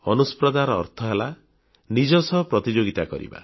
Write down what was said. ଅନୁସ୍ପର୍ଦ୍ଧାର ଅର୍ଥ ହେଲା ନିଜ ସହ ପ୍ରତିଯୋଗିତା କରିବା